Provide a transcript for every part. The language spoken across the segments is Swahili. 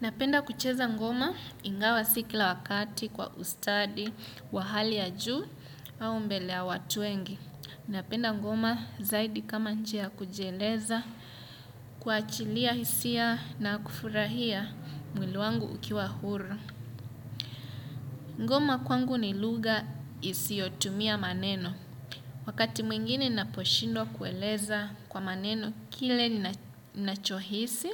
Napenda kucheza ngoma ingawa si kila wakati kwa ustadi, wa hali ya juu au mbele ya watu wengi. Napenda ngoma zaidi kama njia kujieleza, kuachilia hisia na kufurahia mwili wangu ukiwa huru. Ngoma kwangu ni lugha isiyotumia maneno. Wakati mwingine naposhindwa kueleza kwa maneno kile ninacho hisi,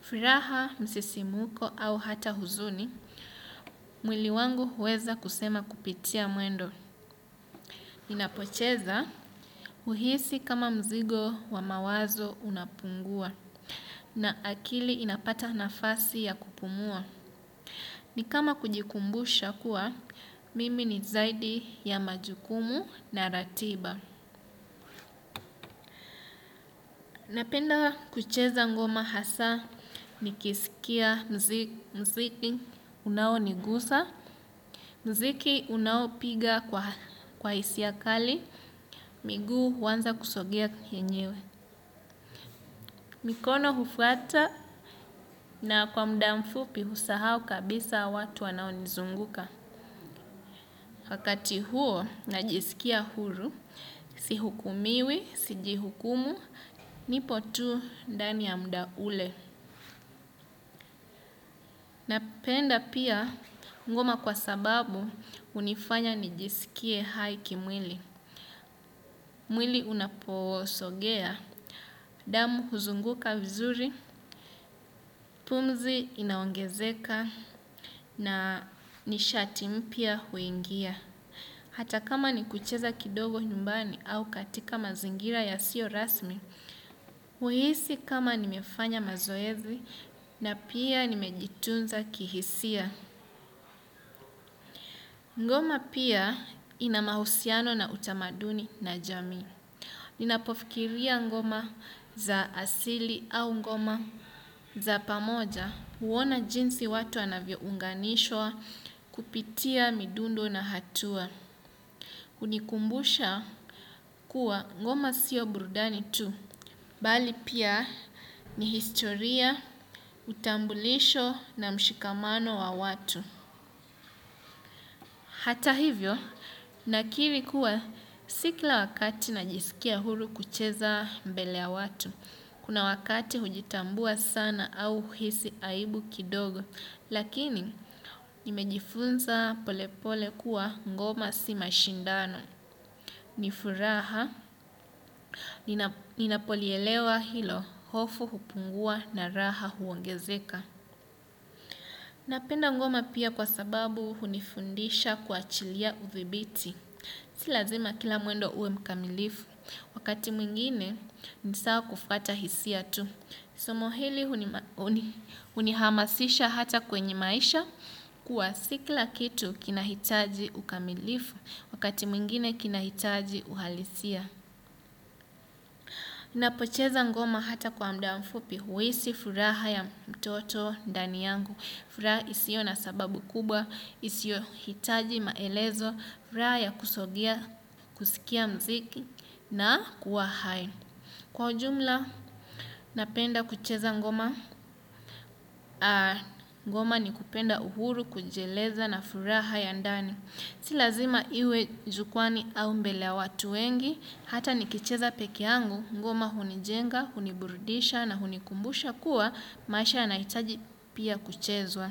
furaha, msisimuko au hata huzuni. Mwili wangu huweza kusema kupitia mwendo. Inapocheza huhisi kama mzigo wa mawazo unapungua na akili inapata nafasi ya kupumua. Ni kama kujikumbusha kuwa, mimi ni zaidi ya majukumu na ratiba. Napenda kucheza ngoma hasa nikisikia muziki unawo nigusa, muziki unawo piga kwa hisia kali, miguu huanza kusogea yenyewe. Mikono hufwata na kwa muda mfupi husahau kabisa watu wanao nizunguka. Wakati huo najisikia huru, si hukumiwi, sijihukumu, nipo tu naani ya muda ule. Napenda pia ngoma kwa sababu hunifanya nijisikie hai kimwili. Mwili unaposogea, damu huzunguka vizuri, pumzi inaongezeka na nishati mpya huingia. Hata kama ni kucheza kidogo nyumbani au katika mazingira yasio rasmi, huhisi kama nimefanya mazoezi na pia nimejitunza kihisia. Ngoma pia ina mahusiano na utamaduni na jamii. Ninapofikiria ngoma za asili au ngoma za pamoja huona jinsi watu wanavyo unganishwa kupitia midundo na hatua. Unikumbusha kuwa ngoma sio burudani tu. Bali pia ni historia utambulisho na mshikamano wa watu. Hata hivyo, nakiri kuwa si kila wakati najisikia huru kucheza mbele ya watu, kuna wakati hujitambua sana au hisi aibu kidogo, lakini nimejifunza polepole kuwa ngoma si mashindano, ni furaha, ninapolielewa hilo, hofu hupungua na raha huongezeka. Napenda ngoma pia kwa sababu hunifundisha kuachilia uthibiti. Si lazima kila mwendo uwe mkamilifu, wakati mwingine ni sawa kufuata hisia tu. Somo hili hunihamasisha hata kwenye maisha kuwa si kila kitu kinahitaji ukamilifu, wakati mwingine kinahitaji uhalisia. Napocheza ngoma hata kwa mda mfupi huwisi furaha ya mtoto ndani yangu. Furaha isio na sababu kubwa, isiohitaji maelezo, furaha ya kusogea, kusikia mziki na kuwa hai. Kwa ujumla, napenda kucheza ngoma, ngoma ni kupenda uhuru, kujieleza na furaha ya ndani. Si lazima iwe jukwani au mbele ya watu wengi, hata nikicheza peke yangu, ngoma hunijenga, huniburidisha na hunikumbusha kuwa, maisha yanahitaji pia kuchezwa.